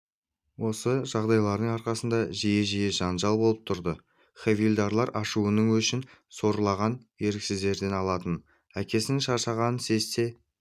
осы жағдайлардың арқасында жиі-жиі жанжалдар болып тұрды хавильдарлар ашуының өшін сорлаған еріксіздерден алатын әкесінің шаршағанын сезсе